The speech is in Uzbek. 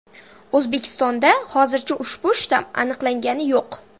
O‘zbekistonda hozircha ushbu shtamm aniqlangani yo‘q .